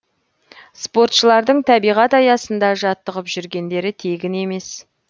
спортшылардың табиғат аясында жаттығып жүргендері тегін емес